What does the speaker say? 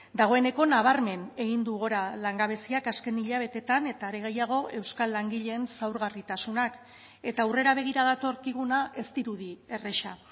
dagoeneko nabarmen egin du gora langabeziak azken hilabeteetan eta are gehiago euskal langileen zaurgarritasunak eta aurrera begira datorkiguna ez dirudi erraza